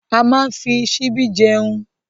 A máa n fí síbí jẹun.